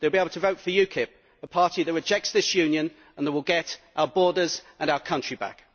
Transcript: They will be able to vote for UKIP, a party that rejects this Union and that will get our borders and our country back.